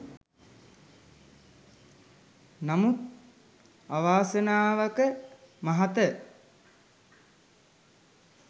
නමුත් අවාසනාවක මහත